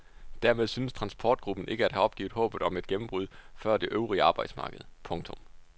Dermed synes transportgruppen ikke at have opgivet håbet om et gennembrud før det øvrige arbejdsmarked. punktum